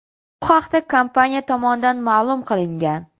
Bu haqda kompaniya tomonidan ma’lum qilingan.